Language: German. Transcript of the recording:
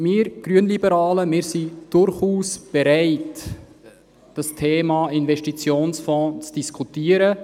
Wir Grünliberalen sind durchaus bereit, das Thema Investitionsfonds zu diskutieren.